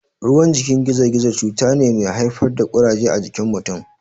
Ruwan jikin gizo-gizo cuta ne mai haifar da Ƙuraje a jikin mutun.